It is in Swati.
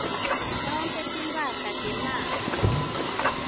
tonkhe timphahla temafa